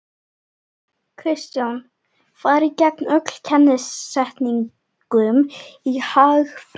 Kristján: Farið gegn öllum kennisetningum í hagfræði?